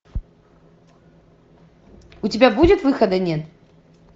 у тебя будет выхода нет